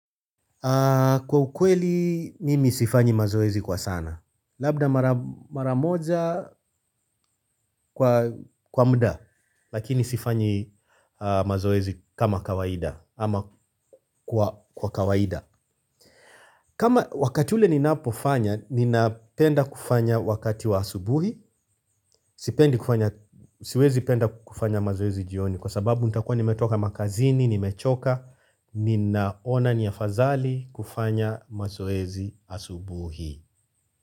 Kwa ukweli, mimi sifanyi mazoezi kwa sana. Labda mara moja kwa muda lakini sifanyi mazoezi kama kawaida ama kwa kawaida. Kama wakati ule ninapofanya, ninapenda kufanya wakati wa asubuhi. Sipendi siwezi penda kufanya mazoezi jioni kwa sababu nitakuwa nimetoka makazini, nimechoka ninaona ni afadhali kufanya mazoezi asubuhi.